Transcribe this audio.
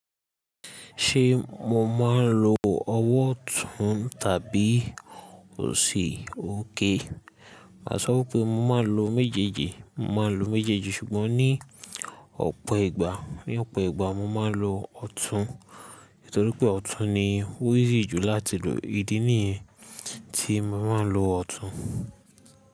Ṣé mo máa ń lo ọwọ́ ọ̀tún tàbí òsì òkay? Màá sọ wípé mo máa ń lo méjèèjì, mo máa ń lo méjèèjì, ṣùgbọ́n ní ọ̀pọ̀ ìgbà, ní ọ̀pọ̀ ìgbà mo máa ń lo ọ̀tún. Nítorí pé ọ̀tún ni o easy jù láti lò. Ídí nìyẹn tí mo máa ń lo ọ̀tún.